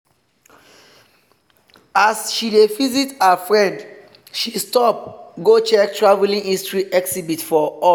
as she dey visit her friend she stop go check traveling history exhibit for hall.